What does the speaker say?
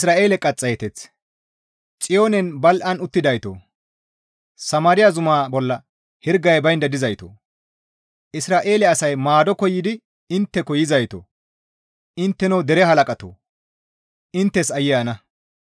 Xiyoonen badhdhi gi uttidaytoo! Samaariya zuma bolla hirgay baynda dizaytoo! Isra7eele asay maado koyidi intteko yizaytoo! Intteno dere halaqatoo! Inttes aayye ana!